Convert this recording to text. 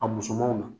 A musomanw na